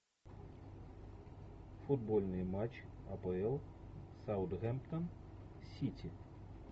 футбольный матч апл саутгемптон сити